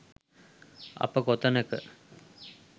අප කොතැනක